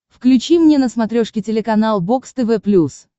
включи мне на смотрешке телеканал бокс тв плюс